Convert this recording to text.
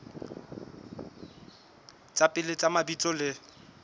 tsa pele tsa mabitso le